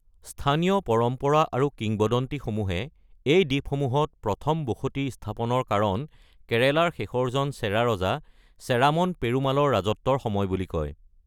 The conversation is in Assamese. স্থানীয় পৰম্পৰা আৰু কিংবদন্তিসমূহে এই দ্বীপসমূহত প্ৰথম বসতি স্থাপনৰ কাৰণ কেৰেলাৰ শেষৰজন চেৰা ৰজা চেৰামন পেৰুমালৰ ৰাজত্বৰ সময় বুলি কয়।